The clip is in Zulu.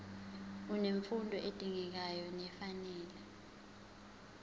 unemfundo edingekayo nefanele